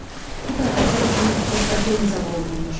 Bu da əsir üçün xoşbəxlik hesab olunurmuş.